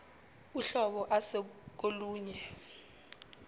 uhlobo ase kolunye